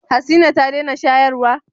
Hasina ta dena shayarwa